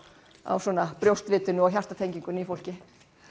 á brjóstvitinu og hjartatengingunni í fólki